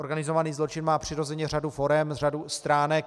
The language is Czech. Organizovaný zločin má přirozeně řadu forem, řadu stránek.